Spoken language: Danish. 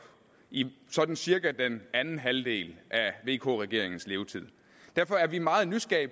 i sådan cirka den anden halvdel af vk regeringens levetid derfor er vi meget nysgerrige